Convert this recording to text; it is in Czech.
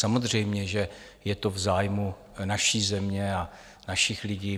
Samozřejmě že je to v zájmu naší země a našich lidí.